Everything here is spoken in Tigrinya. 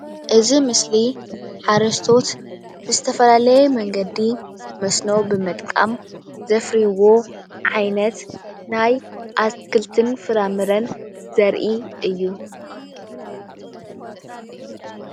እዚ ምስሊ ሓረስቶት ብዝተፈላለዩ መንገዲ መስኖ ብምጥቃም ዘፍርይዎ ዓይነት ናይ አትክልትን ፍራምረን ዘርኢ እዩ።